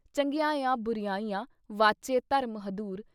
ਚੰਗਿਆਈਆਂ ਬੁਰਿਆਈਆਂ ਵਾਚੇ ਧਰਮ- ਹਦੂਰ।